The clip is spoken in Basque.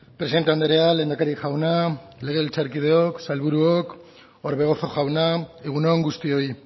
presidente andrea lehendakari jauna legebiltzarkideok sailburuok orbegozo jauna egun on guztioi